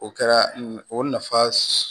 O kɛra o nafa